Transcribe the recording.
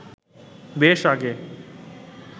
বেশ আগে